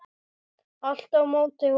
Allt á móti honum.